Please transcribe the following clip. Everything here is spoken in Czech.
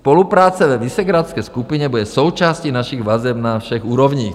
Spolupráce ve Visegrádské skupině bude součástí našich vazeb na všech úrovních."